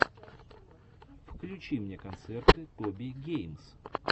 включи мне концерты тоби геймс